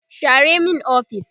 share min ofis!